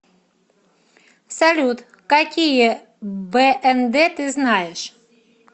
салют какие бнд ты знаешь